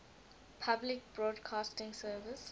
public broadcasting service